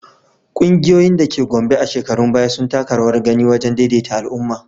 Ƙungiyoyin da ke Gombe a shekarun baya sun taka rawar gani wajen daidaita al’umma.